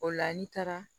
O la n'i taara